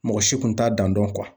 Mɔgɔ si kun t'a dan dɔn